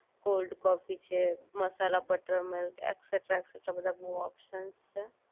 cold coffee છે masala butter milk extra extra બધા બહુ ઓપ્શન છે